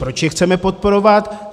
Proč je chceme podporovat?